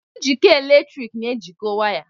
Njikọ eletrik na-ejikọ waya.